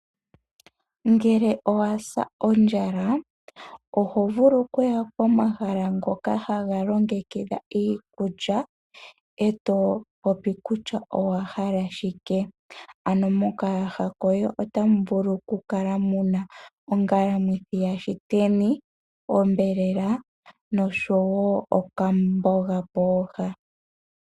Ngele owasa ondjala oho vulu okuya pomahala ngoka haga longekidha iikulya, eto popi kutya owahala shike. Mokayaha koye otamu vulu oku kala ongalamwithi yaShiteni, onyama noshowo okamboga pooha.